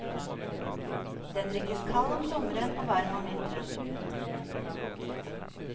Den drikkes kald om sommeren og varm om vinteren.